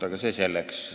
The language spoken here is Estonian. Aga see selleks.